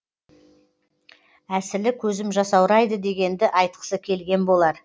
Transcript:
әсілі көзім жасаурайды дегенді айтқысы келген болар